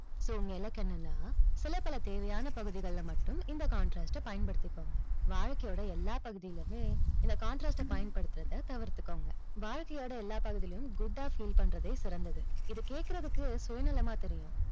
so உங்க இலக்கு என்னன்னா, சில பல தேவையான பகுதிகளில மட்டும், இந்த contrast அ பயன்படுத்திக்கோங்க. வாழ்க்கையோட எல்லா பகுதிளையுமே, இந்த contrast அ பயன்படுத்துறத தவிர்த்துக்கோங்க. வாழ்க்கையோட எல்லா பகுதிளையும் good ஆ feel பண்றதே சிறந்தது. இது கேட்கிறதுக்கு சுயநலமா தெரியும்.